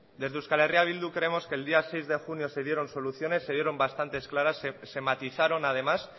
desde euskal herria bildu creemos que el día seis de junio se dieron soluciones se dieron bastante claras se matizaron además